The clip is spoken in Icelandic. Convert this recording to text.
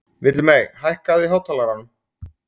Villimey, hækkaðu í hátalaranum.